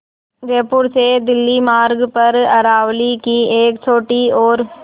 जयपुर से दिल्ली मार्ग पर अरावली की एक छोटी और